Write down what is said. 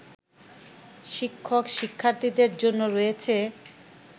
শিক্ষক-শিক্ষার্থীদের জন্য রয়েছে